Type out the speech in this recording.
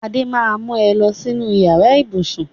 Adé máa mu ẹ lọ sínú yàrá ibùsùn